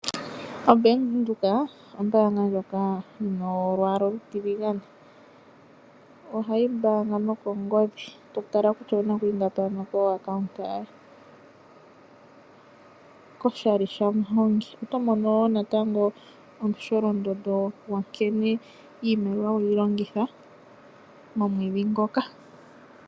Obank windhoek ombaanga ndjoka yina olwaala olutiligane , ohayi mbaanga noko ngodhi totala kutya owunako iingapi kokambo koye oshali sha muhongi .Otomono woo natatango omsholondodo gwo nkene iimaliwa weyi longitha omwedhi ngoka .